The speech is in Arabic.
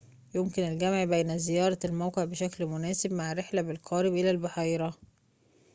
يمكن الجمع بين زيارة الموقع بشكل مناسب مع رحلة بالقارب إلى البحيرة